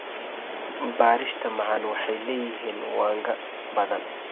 Bariishta macaan waxay leeyihiin wanga badan.